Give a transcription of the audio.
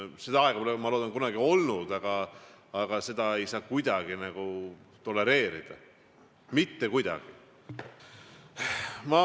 Seda aega pole, ma loodan, kunagi olnudki, aga seda ei saa kuidagi tolereerida, mitte kuidagi.